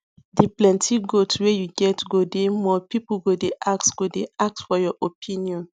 d plenti goat wey you get go dey more people go dey ask go dey ask for your opinion